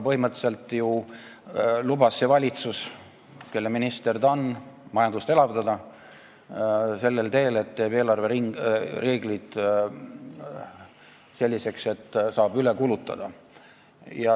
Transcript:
Põhimõtteliselt lubas ju see valitsus, kelle minister ta on, majandust elavdada sellel teel, et teeb eelarve reeglid selliseks, et saab üle kulutada.